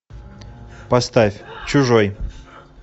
поставь чужой